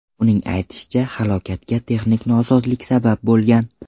Uning aytishicha, halokatga texnik nosozlik sabab bo‘lgan.